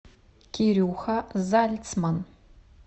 кирюха зальцман